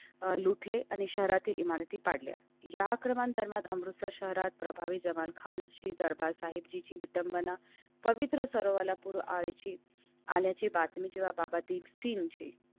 लुटले आणि शहरातील इमारती पाडल्या या क्रमाने धर्मात अमृतसर शहरात प्रभावी जवळ खानची दरबार साहिबची विडम्बना पवित्र सर्वाला पूर आल्याची आल्याची बातमी जेव्हा बाबा दीपसिंहजी.